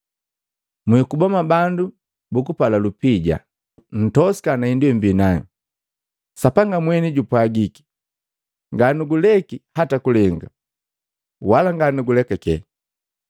Mwikuba mwa bandu bukupala lupija; ntosika na hindu yemmbi nayu. Sapanga mweni jupwagiki: “Nga nuguleki hata kulenga, wala nga nugulekele.”